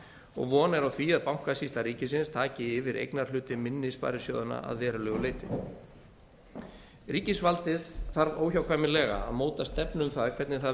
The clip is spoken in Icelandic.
og von er á því að bankasýsla ríkisins taki yfir eignarhluti minni sparisjóðanna að verulegu leyti ríkisvaldið þarf óhjákvæmilega að móta stefnu um það hvernig það